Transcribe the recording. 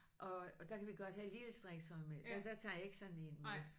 Og og der kan vi godt have lille strikketøj med. Der der tager jeg ikke sådan en med